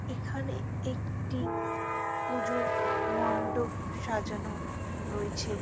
এখানে একটি পুজোর মণ্ডপ সাজানো রয়েছে ।